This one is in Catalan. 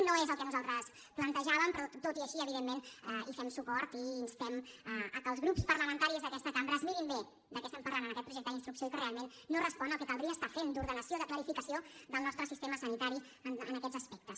no és el que nosaltres plantejàvem però tot i així evidentment hi fem suport i instem que els grups parlamentaris d’aquesta cambra es mirin bé de què estem parlant en aquest projecte d’instrucció que realment no respon al que caldria estar fent d’ordenació de clarificació del nostre sistema sanitari en aquests aspectes